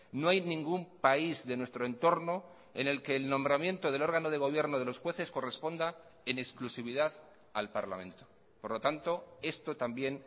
no hay ningún país de nuestro entorno en el que el nombramiento del órgano de gobierno de los jueces corresponda en exclusividad al parlamento por lo tanto esto también